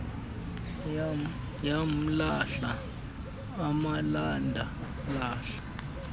yamlahla emalanda lahla